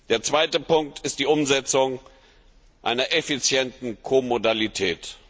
Der zweite Punkt ist die Umsetzung einer effizienten Ko Modalität.